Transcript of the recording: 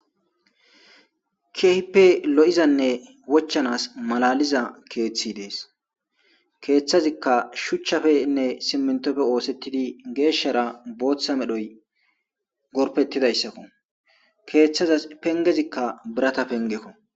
Keehippe lo7izanne wochchanaas malaaliza keeththi dees; keeththazikka shuchchafenne simenththope ooseththidi geeshshara booththa medhoy gorppeththidayssakko; keeththaza penggezikka biratha penggekoo.